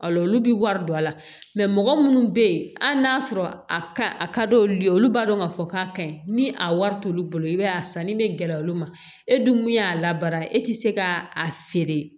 Al'olu bɛ wari don a la mɔgɔ munnu be yen hali n'a sɔrɔ a ka a ka d'olu ye olu b'a dɔn k'a fɔ k'a ka ɲi ni a wari t'olu bolo i b'a ye a sanni bɛ gɛlɛya olu ma e dun min y'a labara e tɛ se ka a feere